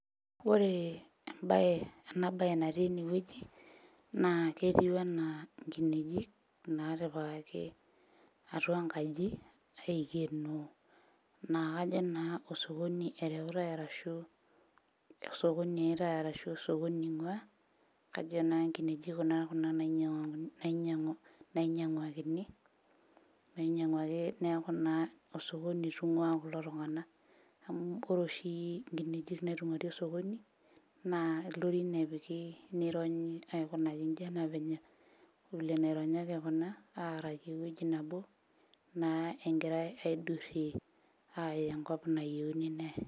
Ore embaye ena baye natii enewueji naa ketiu enaa nkinejik natipikaki atua enkaji aikenoo naa kajo naa osokoni ereutae arashu osokoni eyaitae arashu osokoni ing'ua kajo naa nkineji kuna, kuna nainyiang'u nainyiang'uakini nainyiang'uaki neeku naa osokoni itung'ua kulo tung'ana amu ore oshi inkinejik naitung'uari osokoni naa ilorin epiki nironyi aikunaki inji anaa venye vile enaironyaki kuna aaraki ewueji nabo naa engirae aidurrie aaya enkop nayieuni neyae.